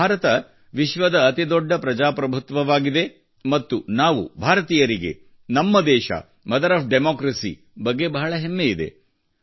ಭಾರತ ವಿಶ್ವದ ಅತಿದೊಡ್ಡ ಪ್ರಜಾಪ್ರಭುತ್ವವಾಗಿದೆ ಮತ್ತು ನಾವು ಭಾರತೀಯರಿಗೆ ನಮ್ಮ ದೇಶ ಮದರ್ ಆಫ್ ಡೆಮಾಕ್ರಸಿ ಬಗ್ಗೆ ಬಹಳ ಹೆಮ್ಮೆಯಿದೆ